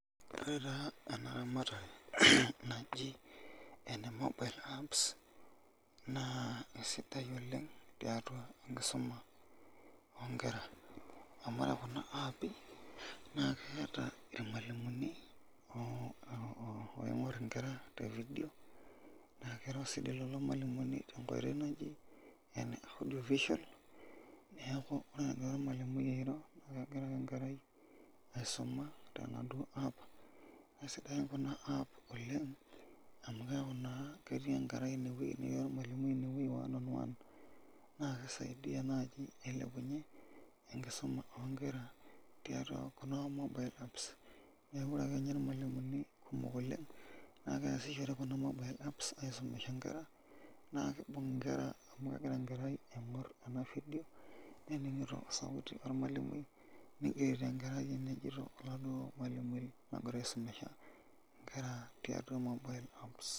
Ore taa enaramatare naji ene mobile apps naa kesidai oleng' tiatua enkisuma oonkera, amu ore nena aapi keeta ilmalimuni oooinkur inkera te vidio naa kiro sii lelo malimumi tenkoito naje ene audio visual neeku ore egira olmalimui airo negira enkerai aisuma tenaduo app. Kesidai kuna app oleng' amu keeku naa ketii enkerai ine netii olmalimui ine one on on naa kisaidia naaji ailepunyie enkisuma oonkera tiatua tekuna mobile apps. Neeku ore ninye ilmalimuni kumok oleng' neeku keasishore kuna mobile apps aisomesha inkera naakibung enkerai amu keeku kegira ainkor ena vidio olmalimui nigerito enajito oladuo malimumi ogira aisomesha inkera tiatua mobile apps.